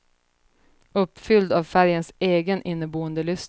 Uppfylld av färgens egen inneboende lyster.